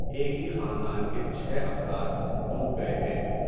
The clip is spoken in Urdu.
ایک ہی خاندان کے چھ افراد ڈوب گئے ہیں ۔